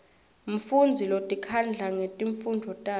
mfundzi lotikhandla ngetifundvo takhe